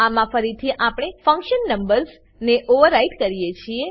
આમાં ફરીથી આપણે ફંક્શન નંબર્સ ને ઓવરરાઈડ કરીએ છીએ